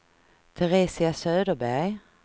Teresia Söderberg